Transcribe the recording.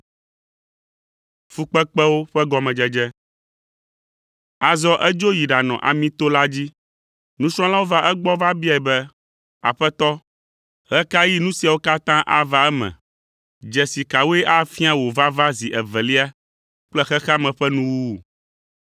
Azɔ edzo yi ɖanɔ Amito la dzi. Nusrɔ̃lawo va egbɔ va biae be, “Aƒetɔ, ɣe ka ɣi nu siawo katã ava eme? Dzesi kawoe afia wò vava zi evelia kple xexea me ƒe nuwuwu?”